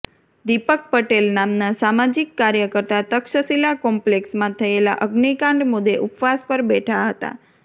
દિપક પટેલ નામના સામાજિક કાર્યકર્તા તક્ષશિલા કોમ્પલેક્ષમાં થયેલા અગ્નિકાંડ મુદ્દે ઉપવાસ પર બેઠા હતા